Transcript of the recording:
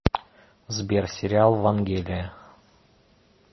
сбер сериал вангелия